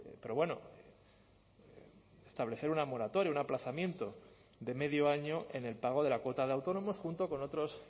pero bueno establecer una moratoria un aplazamiento de medio año en el pago de la cuota de autónomos junto con otros